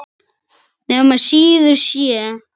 Nema síður sé.